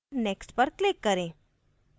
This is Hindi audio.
next पर click करें